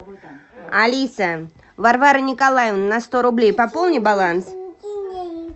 алиса варвара николаевна на сто рублей пополни баланс